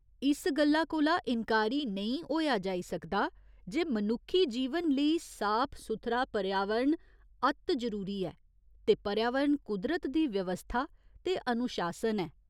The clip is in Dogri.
इस गल्ला कोला इन्कारी नेईं होएआ जाई सकदा जे मनुक्खी जीवन लेई साफ सुथरा पर्यावरण अत्त जरूरी ऐ ते पर्यावरण कुदरत दी व्यवस्था ते अनुशासन ऐ।